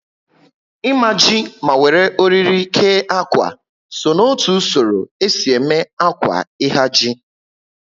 Imaji ma wéré oriri kee ákwà so n'otu usoro esi eme ákwà ihaji